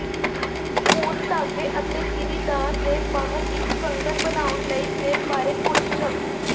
ਹੁਣ ਧਾਗੇ ਅਤੇ ਗਿਰੀਦਾਰ ਦੇ ਬਾਹਰ ਇੱਕ ਕੰਗਣ ਬਣਾਉਣ ਲਈ ਦੇ ਬਾਰੇ ਕੁਝ ਸ਼ਬਦ